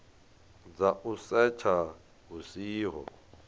dza u setsha hu siho